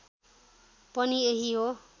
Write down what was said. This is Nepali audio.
पनि यही हो